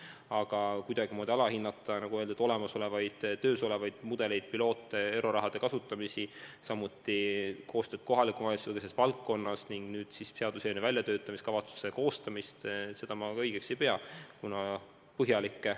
Aga kuidagimoodi alahinnata töös olevaid mudeleid, pilootprojekte, euroraha kasutamisi, samuti koostööd kohaliku omavalitsusega selles valdkonnas ning nüüd siis seaduseelnõu väljatöötamiskavatsuse koostamist – seda ma õigeks ei pea.